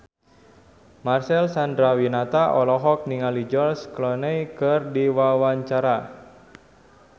Marcel Chandrawinata olohok ningali George Clooney keur diwawancara